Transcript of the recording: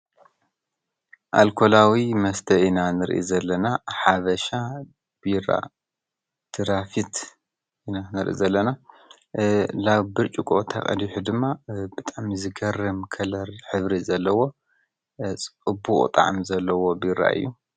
ኣልኮላዊ መስተ ኢና ንርኢ ዘለና ሓበሻ ቢራ ድራፍት ኢና ንርኢ ዘለና። ላብ ብርጭቆ ተቀዲሑ ድማ ብጣዕሚ ዝገርም ከለር ሕብሪ ዘለዎ ፅቡቕ ጣዕሚ ዘለዎ ቢራ እዩ።